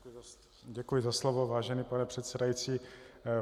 Děkuji za slovo, vážený pane předsedající.